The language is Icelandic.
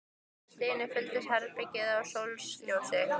Allt í einu fyllist herbergið af sólarljósi.